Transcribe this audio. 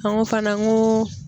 An ko fana ko